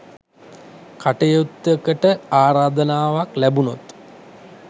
කටයුත්තකට ආරාධනාවක් ලැබුණොත්